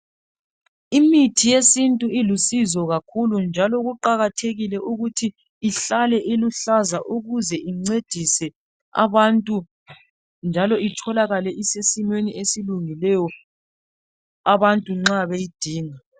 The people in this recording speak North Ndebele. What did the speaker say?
Imithi yesintu ilusizo kakhulu njalo kuqakathekile ukuthi ihlale iluhlaza ukuze incedise abantu njalo itholakale isesimweni esilungileyo abantu nxa beyidinga.